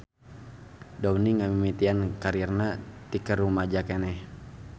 Downey ngamimitian karirna ti keur rumaja keneh.